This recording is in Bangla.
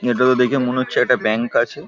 এটাতো দেখে মনে হচ্ছে একটা ব্যাঙ্ক আছে ।